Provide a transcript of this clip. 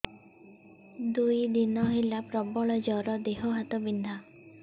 ଦୁଇ ଦିନ ହେଲା ପ୍ରବଳ ଜର ଦେହ ହାତ ବିନ୍ଧା